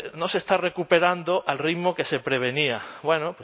no se está recuperando al ritmo que se prevenía bueno